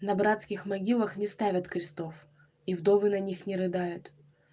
на братских могилах не ставят крестов и вдовы на них не рыдают